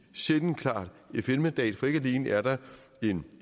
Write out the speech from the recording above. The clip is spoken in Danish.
sjældent klart fn mandat for ikke alene er der en